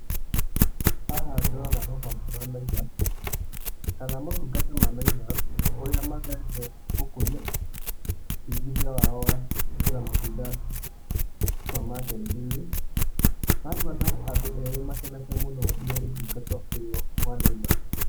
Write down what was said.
Haha ndĩrona rũhonge rwa Naivas, ,kana motungata ma Naivas, kũrĩa magereirio gũkũria wĩingĩhia wao wa gũĩkĩra matunda, supermarket -inĩ. Nangona andũ erĩ makenete mũno nĩ ũtungata ũyũ wa Naivas.